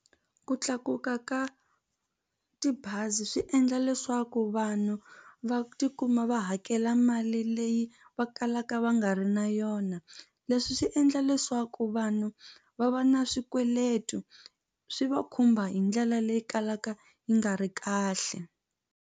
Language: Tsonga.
Ku tlakuka ka tibazi swi endla leswaku vanhu va tikuma va hakela mali leyi va kalaka va nga ri na yona leswi swi endla leswaku vanhu va va na swikweleti swi va khumba hi ndlela leyi kalaka yi nga ri kahle.